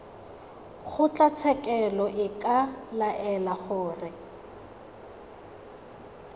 kgotlatshekelo e ka laela gore